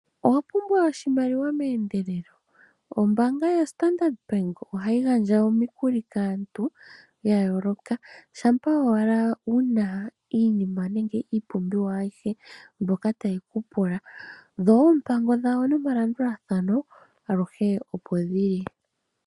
Owapumbwa oshimaliwa meendelelo? Ombaanga yaStandard bank ohayi gandja omikuli kaantu ya yooloka shampa owala wuna iinima nenge ipumbiwa ayihe mbyoka taye kupula dho oompango dhawo nomalandulathano aluhe opo dhili.